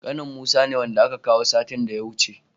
Ƙanin musa ne, wanda aka kawo satin da ya wuce.